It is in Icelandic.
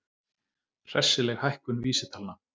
Hressileg hækkun vísitalna